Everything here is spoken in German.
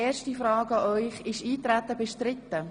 Ist das Eintreten bestritten?